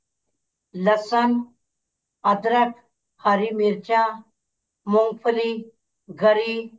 ਲਸਣ ਅਧਰਕ ਹਰੀ ਮਿਰਚਾਂ ਮੂੰਗਫਲੀ ਗਰੀ